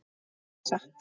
Líka satt?